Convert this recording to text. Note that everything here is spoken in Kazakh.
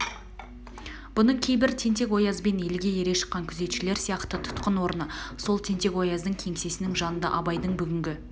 бұның кейбір тентек-оязбен елге ере шыққан күзетшілер сияқты тұтқын орны сол тентек-ояздың кеңсесінің жанында абайдың бүгінгі